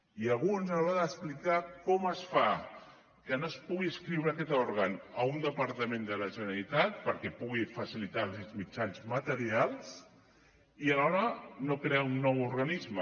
i a alguns ens haurà d’explicar com es fa que no es pugui inscriure aquest òrgan a un departament de la generalitat perquè li pugui facilitar els mitjans materials i alhora no crear un nou organisme